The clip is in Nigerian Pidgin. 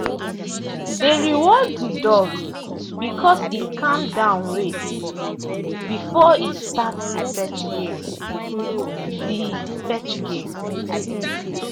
they reward the dog because e calm down wait before e start the fetch game. the fetch game.